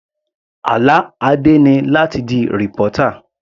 Àlá Adé ni láti di reporter.